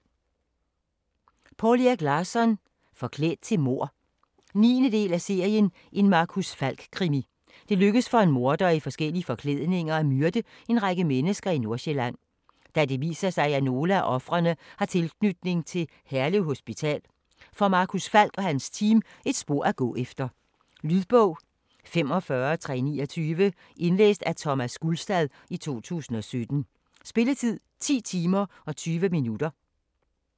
Larsson, Poul Erik: Forklædt til mord 9. del af serien En Marcus Falck krimi. Det lykkedes for en morder i forskellige forklædninger at myrde en række mennesker i Nordsjælland. Da det viser sig at nogle af ofrene har tilknytning til Herlev Hospital, får Marcus Falk og hans team et spor at gå efter. Lydbog 45329 Indlæst af Thomas Gulstad, 2017. Spilletid: 10 timer, 20 minutter.